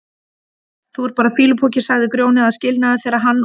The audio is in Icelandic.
Þú ert bara fýlupoki, sagði Grjóni að skilnaði þegar hann og